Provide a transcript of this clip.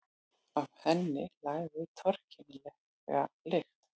Af henni lagði torkennilega lykt.